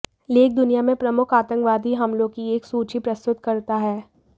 लेख दुनिया में प्रमुख आतंकवादी हमलों की एक सूची प्रस्तुत करता है